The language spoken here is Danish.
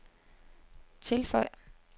tilføj